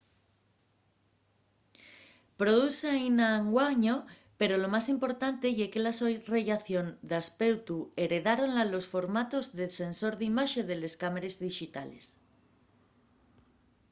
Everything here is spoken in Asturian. produzse aínda anguaño pero lo más importante ye que la so rellación d'aspeutu heredáronla los formatos de sensor d’imaxe de les cámares dixitales